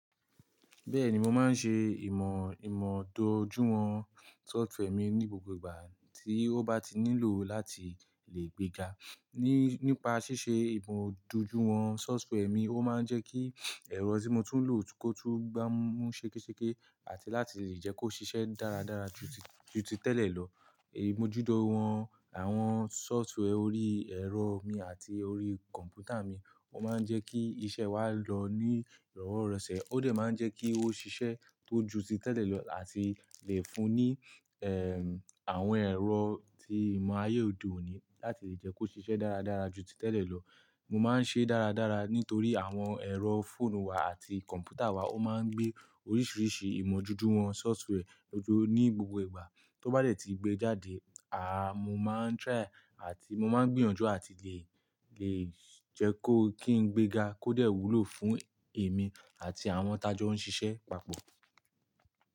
Bẹ́ẹ̀ni, mo máa ń ṣe ìmọ̀júwọn software mi ní gbogbo ìgbà, tí ó bá ti nílò láti lè gbega. Nípa ṣíṣe ìmọ̀júwọn software mi, ó máa ń jẹ́ kí ẹ̀rọ tí mo tún ń lò kó tó gbá mú ṣekeseƙe àti láti lè jẹ́ kó ṣiṣẹ́ dáradára ju títẹ̀lẹ̀ lọ. Ìmọ̀júwọn àwọn software orí ẹ̀rọ mi àti orí kọ̀m̀pútà mi ó máa ń jẹ́ kí iṣẹ́ wa lọ ní ìrọ̀wo rọ̀ṣẹ̀. Ó de máa ń jẹ́ kí ó ṣiṣẹ́ tó ju títẹ̀lẹ̀ lọ àti lè fún ní àwọn ẹ̀rọ tí ìmọ̀ ayé òde òní láti lè jẹ́ kó ṣiṣẹ́ dáradára ju títẹ̀lẹ̀ lọ. Mo máa ń ṣe dáradára, nítorí àwọn ẹ̀rọ fóònù wa àti kọ̀m̀pútà wa, ó máa ń gbé oríṣìíríṣìí ìmọ̀júwọn software ní gbogbo ìgbà. Tó bá dẹ̀ ti gbé jáde, mo máa ń try àti mo máa ń gbìyànjú àti lè jẹ́ kó kí n gbega kó dẹ̀ wúlò fún èmi àti àwọn tajọ́ ń ṣiṣẹ́ papọ̀.